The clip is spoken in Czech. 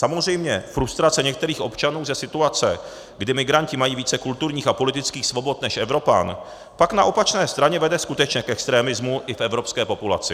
Samozřejmě, frustrace některých občanů ze situace, kdy migranti mají více kulturních a politických svobod než Evropan, pak na opačné straně vede skutečně k extremismu i v evropské populaci.